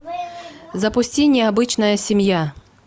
запусти необычная семья